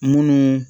Munnu